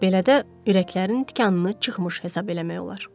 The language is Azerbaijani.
Belədə ürəklərinin tikanını çıxmış hesab eləmək olar.